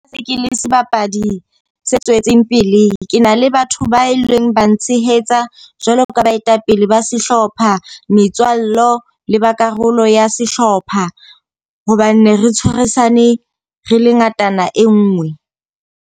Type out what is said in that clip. Ke le sebapadi se tswetseng pele. Ke na le batho ba e leng ba ntshehetsa jwalo ka baetapele ba sehlopha, metswalle le ba karolo ya sehlopha. Hobane re ne re tshwarisane, re le ngatana e nngwe.